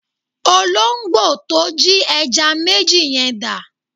Olóǹgbò to jí ẹja méjì yẹn dà?